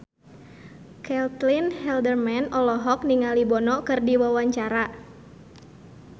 Caitlin Halderman olohok ningali Bono keur diwawancara